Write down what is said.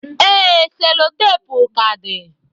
Ee, sellotape ka dị.